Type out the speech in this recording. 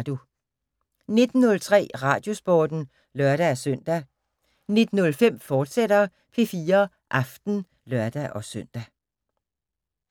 19:03: Radiosporten (lør-søn) 19:05: P4 Aften, fortsat (lør-søn)